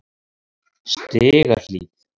Stigahlíð